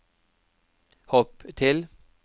hopp til